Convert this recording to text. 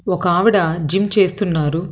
ఒక ఆవిడ జిమ్ చేస్తున్నారు.